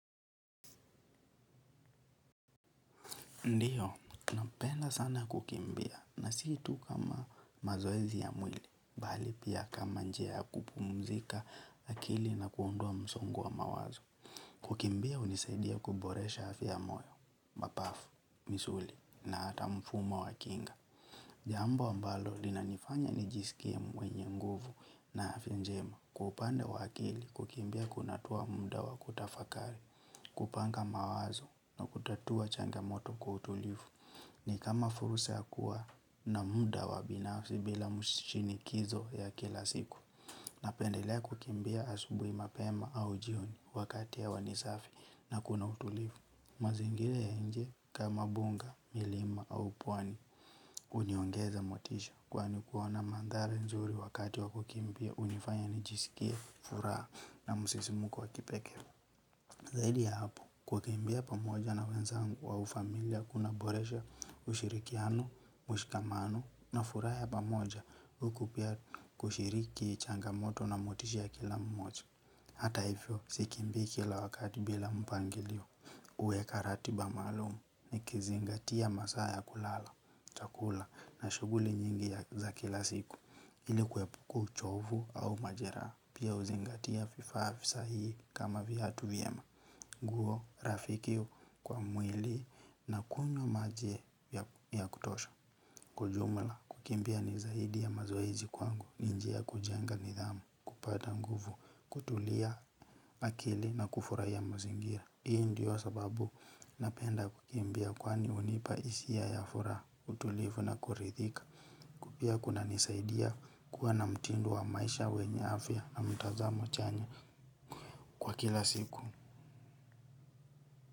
Ndiyo, napenda sana kukimbia na si tu kwa mazoezi ya mwili, bali pia kama njia ya kupumzika akili na kuondoa msongo wa mawazo. Kukimbia hunisaidia kuboresha afya ya moyo mapafu misuli na hata mfumo wa kinga. Jambo ambalo linanifanya ni jisikie mwenye nguvu na afya njema kwa upande wake kukimbia kunatoa muda wa kutafakari kupanga mawazo na kutatua changamoto kwa utulivu ni kama fursa ya kuwa na muda wa binafsi bila mshinikizo ya kila siku napendelea kukimbia asubuhi mapema au jioni wakati ya wanisafi na kuna utulivu. Mazingira ya nje kama mbuga, milima au pwani huniongeza motisha kwani kuona maandhari nzuri wakati wa kukimbia hunifanya nijiskie furaha na msisimuko wa kipekee. Zaidi ya hapo kukimbia pamoja na wenzangu au ufamilia kuna boresha ushirikiano, mshikamano na furaha ya pamoja huku pia kushiriki changamoto na motisha ya kila mmoja. Hata hivyo sikimbii kila wakati bila mpangilio kuweka ratiba maalum nikizingatia masaa ya kulala, chakula na shughuli nyingi za kila siku ili kuepuka uchovu au majeraha. Pia huzingatia vifaa visahii kama viatu vyema, nguo, rafikio kwa mwili na kunywa maji ya kutosha. Kwa jumla, kukimbia ni zaidi ya mazoezi kwangu, ni njia ya kujenga nidhamu, kupata nguvu, kutulia akili na kufurahia mazingira. Hii ndio sababu napenda kukimbia kwani hunipa hisi ya ya furaha utulivu na kuridhika. Pia kuna nisaidia kuwa na mtindo wa maisha wenye afya na mtazamo chanya kwa kila siku.